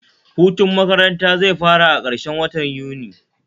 Hutun makaranata zai fara a karshen watan Yuni